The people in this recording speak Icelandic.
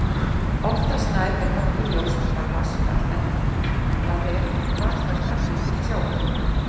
Oftast nær er nokkuð ljóst hvar vatnsfall endar, það er hvar það fellur til sjávar.